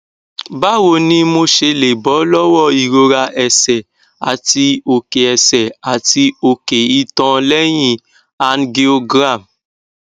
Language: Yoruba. báwo ni mo ṣe lè bọ lọwọ ìrora ẹsẹ àti oke ẹsẹ àti oke itan leyin angiogram